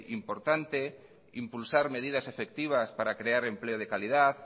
importante impulsar medidas efectivas para crear empleo de calidad